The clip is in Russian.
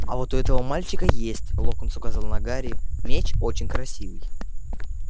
а вот у этого мальчика есть локонс указал на гарри меч очень красивый